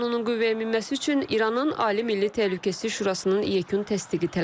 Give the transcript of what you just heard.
Qanunun qüvvəyə minməsi üçün İranın Ali Milli Təhlükəsizlik Şurasının yekun təsdiqi tələb olunur.